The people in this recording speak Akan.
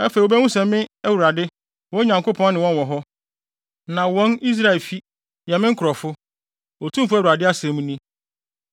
Afei wobehu sɛ me Awurade, wɔn Nyankopɔn ne wɔn wɔ hɔ, na wɔn, Israelfi, yɛ me nkurɔfo; Otumfo Awurade asɛm ni.